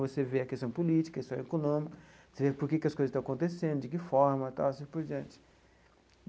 Você vê a questão política, a questão econômica, você vê por que que as coisas estão acontecendo, de que forma e tal, e assim por diante.